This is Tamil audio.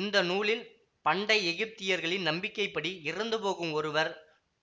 இந்த நூலில் பண்டை எகிப்தியர்களின் நம்பிக்கை படி இறந்துபோகும் ஒருவர்